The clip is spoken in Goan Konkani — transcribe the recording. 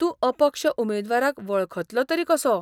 तूं अपक्ष उमेदवाराक वळखतलो तरी कसो ?